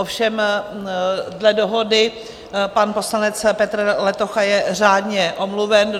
Ovšem dle dohody, pan poslanec Petr Letocha je řádně omluven.